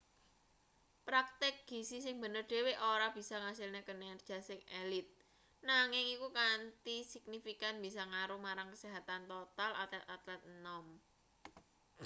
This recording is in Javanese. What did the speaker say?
praktik gizi sing bener dhewe ora bisa ngasilne kinerja sing elit nanging iku kanthi signifikan bisa ngaruh marang kesehatan total atlet-atlet enom